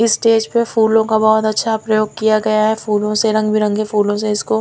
इस स्टेज पे फूलों का बहोत अच्छा प्रयोग किया गया है फूलों से रंग बिरंगे फूलों से इसको--